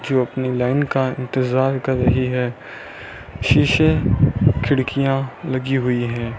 जो अपनी लाइन का इंतजार कर रही है शीशे खिड़कियां लगी हुई हैं।